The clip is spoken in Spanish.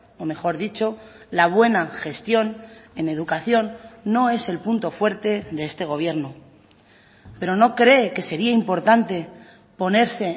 o mejor dicho la buena gestión en educación no es el punto fuerte de este gobierno pero no cree que sería importante ponerse